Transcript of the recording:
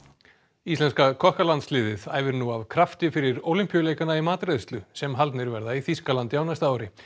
íslenska æfir nú af krafti fyrir Ólympíuleikana í matreiðslu sem haldnir verða í Þýskalandi á næsta ári